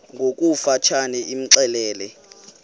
ngokofu tshane imxelele